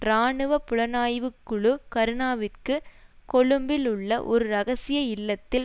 இராணுவ புலனாய்வு குழு கருணாவுக்கு கொழும்பில் உள்ள ஒரு இரகசிய இல்லத்தில்